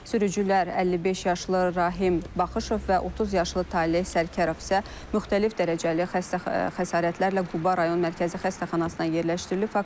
Sürücülər 55 yaşlı Rahim Baxışov və 30 yaşlı Taleh Sərkərov isə müxtəlif dərəcəli xəsarətlərlə Quba rayon Mərkəzi Xəstəxanasına yerləşdirilib.